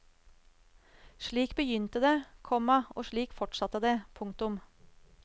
Slik begynte det, komma og slik fortsatte det. punktum